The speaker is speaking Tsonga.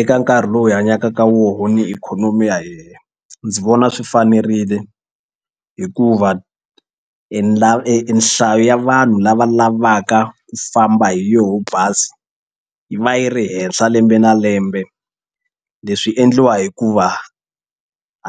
Eka nkarhi lowu hi hanyaka ka wona ni ikhonomi ya hina ndzi vona swi fanerile hikuva na e e nhlayo ya vanhu lava lavaka ku famba hi yoho bazi yi va yi ri henhla lembe na lembe leswi endliwa hikuva